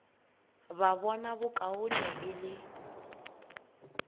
ba bona bokaone e le